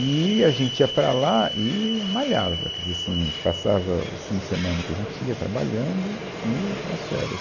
E a gente ia para lá e malhava, quer dizer, assim, passava os fins de semana que a gente ia trabalhando e as férias.